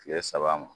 Kile saba ma